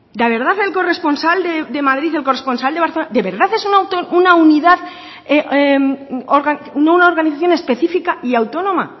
de verdad el corresponsal de madrid y el corresponsal de barcelona de verdad es una organización específica y autónoma